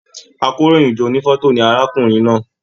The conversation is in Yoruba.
Àkòróyinjọ́ ònífọ̀tò ní arákùnrin náà.